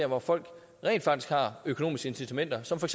hvor folk rent faktisk har økonomiske incitamenter som for